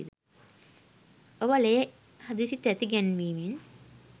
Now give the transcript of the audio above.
ඔබ ලේ හදිසි තැති ගැන්වීමෙන්